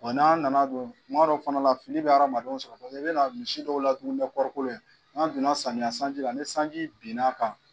Bɔn n'an nana don tum dɔw fana la, fili bɛ hadamadenw sɔrɔ, paseke i bɛna misi dɔw la dumuni ni kɔrɔkolo ye , n'an donna samiya sanji la ni sanji binna a kan